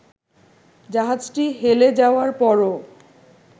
জাহাজটি হেলে যাওয়ার পরও